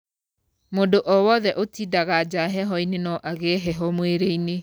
Mũndũ owothe ũtindaga nja heho-inĩ no agĩe heho mwĩrĩ-inĩ.